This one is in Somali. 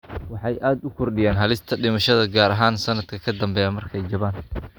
Waxay aad u kordhiyaan halista dhimashada, gaar ahaan sanadka ka dambeeya markay jabaan.